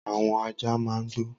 Awọn àjá mà n gbó